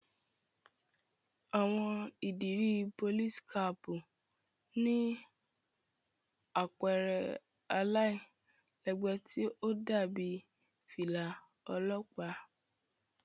Àwọn ìdiri Polìsí-kàpu ni àpẹrẹ àlailẹgbẹ ti o dàbi filà ọlọpa.